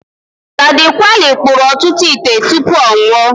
Ladi Kwali kpụrụ ọtụtụ ite tụpụ ọ nwụọ.